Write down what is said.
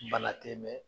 Bana tɛ mɛn